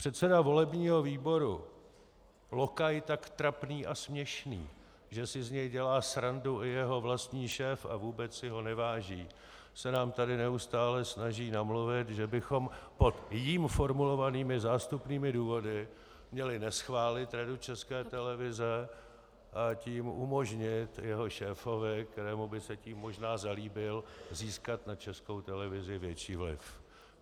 Předseda volebního výboru, lokaj tak trapný a směšný, že si z něj dělá srandu i jeho vlastní šéf a vůbec si ho neváží, se nám tady neustále snaží namluvit, že bychom pod jím formulovanými zástupnými důvody měli neschválit Radu České televize, a tím umožnit jeho šéfovi, kterému by se tím možná zalíbil, získat na Českou televizi větší vliv.